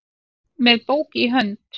með bók í hönd